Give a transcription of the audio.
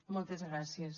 moltes gràcies